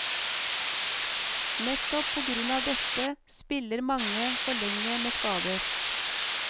Nettopp på grunn av dette, spiller mange for lenge med skader.